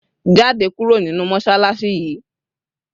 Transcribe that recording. Jáde kúrò nínú mọṣáláṣí yìí!